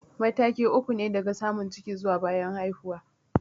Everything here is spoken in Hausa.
Matakai uku ne daga samun ciki zuwa bayan haihuwa.